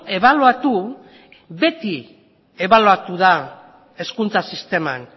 ebaluatu beti ebaluatu da hezkuntza sisteman